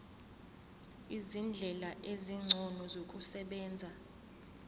izindlela ezingcono zokusebenza